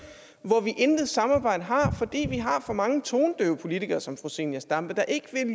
hvor vi intet samarbejde har fordi vi har for mange tonedøve politikere som fru zenia stampe der ikke